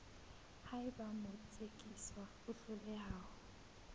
haeba motsekiswa a hloleha ho